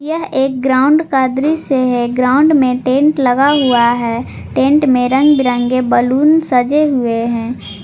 यह एक ग्राउंड कादरी से है ग्राउंड में टेंट लगा हुआ है टेंट में रंग बिरंगे बैलून सजे हुए हैं।